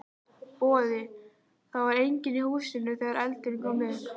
Boði: Það var enginn í húsinu þegar eldurinn kom upp?